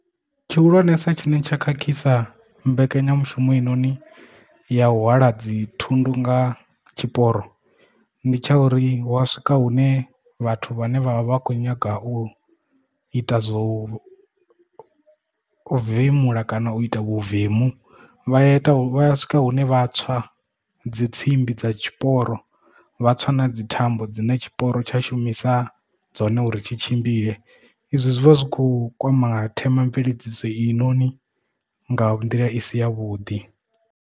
Tshi hulwanesa tshine tsha khakhisa mbekanyamushumo i noni ya u hwala dzi thundu nga tshiporo ndi tsha uri wa swika hune vhathu vhane vha vha vha kho nyaga u ita zwo uvemula kana u ita vhuvemu vha ita swika hune vha tswa dzi tsimbi dza tshiporo vha tswa na dzi thambo dzine tshiporo tsha shumisa dzone uri tshi tshimbile izwi zwi vha zwi kho kwama themamveledziso i noni nga nḓila i si ya vhuḓi.